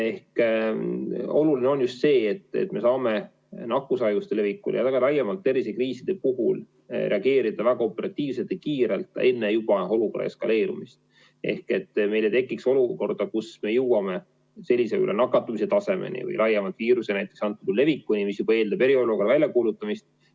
Oluline on just see, et me saame nakkushaiguste leviku ja ka laiemalt tervisekriiside puhul reageerida väga operatiivselt ja kiirelt juba enne olukorra eskaleerumist, et meil ei tekiks olukorda, kus me jõuame nakatumise tasemeni või laiemalt viiruse levikuni, mis eeldab juba eriolukorra väljakuulutamist.